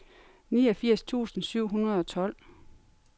niogfirs tusind syv hundrede og tolv